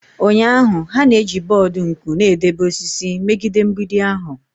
Ụnyahụ, ha na-eji bọọdụ nku na-edebe osisi megide mgbidi ahụ.